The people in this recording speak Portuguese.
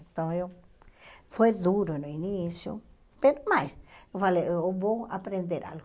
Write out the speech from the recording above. Então eu... Foi duro no início, mas eu falei, eu vou aprender algo.